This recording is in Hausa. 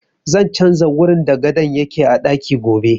Zan canja wurin da gadon yake a ɗaki gobe